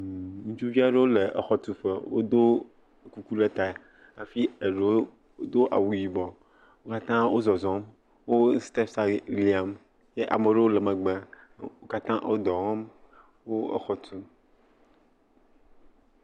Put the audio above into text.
ŋutsuviaɖewo le exɔtuƒe wodó kuku ɖe ta afi eɖewo dó awu yibɔ wókatã wó zɔzɔm wó stepsa liam ye amɖowo le megbe wókatã wó dɔwɔm wó exɔ tum